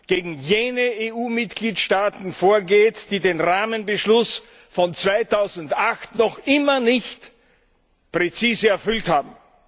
gegen jene EU Mitgliedstaaten vorgeht, die den Rahmenbeschluss von 2008 noch immer nicht präzise umgesetzt haben.